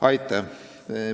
Aitäh!